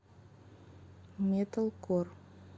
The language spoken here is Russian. металкор